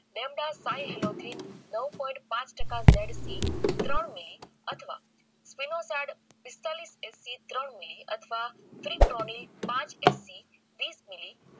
નાઉ point પાંચ ટકા z phi ત્રણ મીલી અથવા પિસ્તાલીસ FC ત્રણ મીલી અથવા પાંચ FC વિસ મિલી